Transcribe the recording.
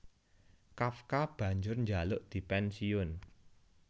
Kafka banjur njaluk dipènsiyun